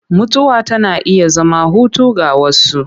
Mutuwa tana iya zama hutu ga wasu.